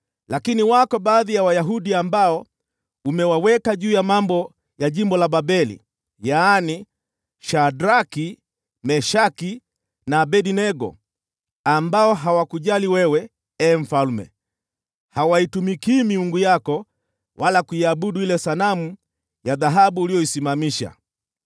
Lakini wako baadhi ya Wayahudi ambao umewaweka juu ya mambo ya jimbo la Babeli: yaani, Shadraki, Meshaki na Abednego, ambao hawakujali wewe, ee mfalme. Hawaitumikii miungu yako wala kuiabudu ile sanamu ya dhahabu uliyoisimamisha.”